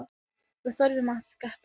Við þurfum að kaupa.